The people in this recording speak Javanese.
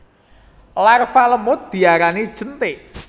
Larva lemud diarani jentik